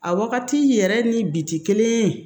A wagati yɛrɛ ni biti kelen ye